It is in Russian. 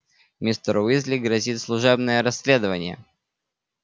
мистеру уизли грозит служебное расследование